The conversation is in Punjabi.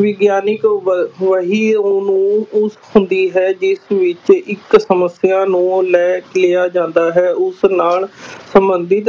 ਵਿਗਿਆਨਕ ਵ ਵਹੀ ਨੂੰ ਉਹ ਹੁੰਦੀ ਹੈ ਜਿਸ ਵਿੱਚ ਇੱਕ ਸਮੱਸਿਆ ਨੂੰ ਲੈ ਲਿਆ ਜਾਂਦਾ ਹੈ ਉਸ ਨਾਲ ਸੰਬੰਧਿਤ